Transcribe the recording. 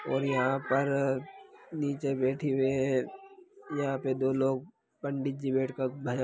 और यहाँ पर नीचे बैठे हुए है यहाँ पे दो लोग पंडित जी बैठ कर भजन--